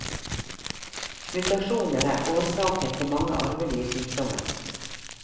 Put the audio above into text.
Mutasjoner er årsaken til mange arvelige sykdommer.